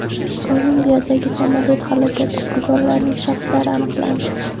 Kolumbiyadagi samolyot halokati qurbonlarining shaxslari aniqlandi.